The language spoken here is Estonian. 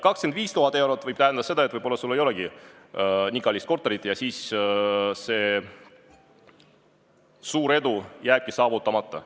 25 000 eurot võib tähendada seda, et võib-olla sul ei olegi nii kallist korterit ja suur edu jääbki saavutamata.